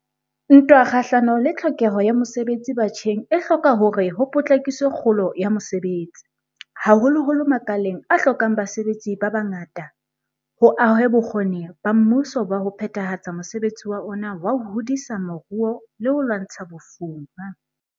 Ntwa kgahlano le tlhokeho ya mosebetsi batjheng e hloka hore ho potlakiswe kgolo ya mosebetsi, haholoholo makaleng a hlokang basebetsi ba bangata, ho ahwe bokgoni ba mmuso ba ho phethahatsa mosebetsi wa ona wa ho hodisa moruo le ho lwantsha bofuma.